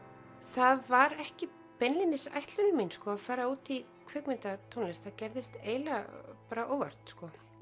það var ekki beinlínis ætlun mín að fara út í kvikmyndatónlist það gerðist eiginlega bara óvart